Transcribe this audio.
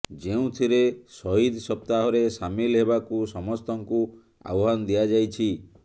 ଯେଉଁଥିରେ ସହିଦ ସପ୍ତାହରେ ସାମିଲ ହେବାକୁ ସମସ୍ତଙ୍କୁ ଆହ୍ୱାନ ଦିଆଯାଇଛି